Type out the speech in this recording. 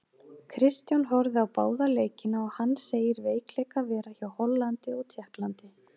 Kristján horfði á báða leikina og hann segir veikleika vera hjá Hollandi og Tékklandi.